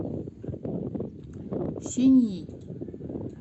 синьи